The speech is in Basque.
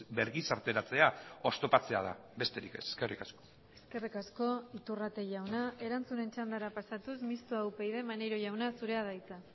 bergizarteratzea oztopatzea da besterik ez eskerrik asko eskerrik asko iturrate jauna erantzunen txandara pasatuz mistoa upyd maneiro jauna zurea da hitza